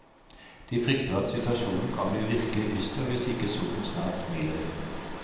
De frykter at situasjonen kan bli virkelig dyster hvis ikke solen snart smiler igjen.